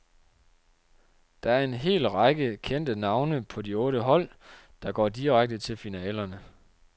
Der er en hel række kendte navne på de otte hold, der går direkte til finalerne.